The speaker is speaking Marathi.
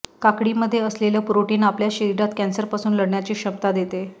काकडीमध्ये असलेलं प्रोटीन आपल्या शरिरात कॅन्सरपासून लढण्याची क्षमता देते